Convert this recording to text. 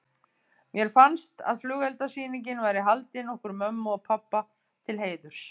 Mér fannst að flugeldasýningin væri haldin okkur mömmu og pabba til heiðurs.